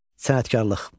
Sənətkarlıq.